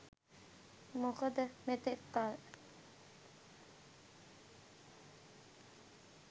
මොකද මෙතෙක් කල්